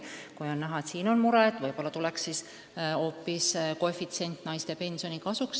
Kui on näha, et on selline mure, siis võib-olla peaksime mõtlema hoopis sellele, et kasutada koefitsienti naiste pensioni kasuks.